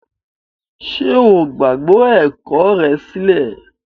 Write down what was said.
Ṣe o gbagbe ẹkọ rẹ silẹ?